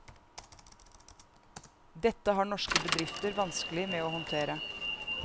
Dette har norske bedrifter vanskelig med å håndtere.